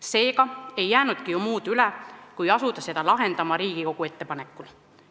Seega ei jäänudki muud üle, kui asuda seda lahendama Riigikogu ettepanekul.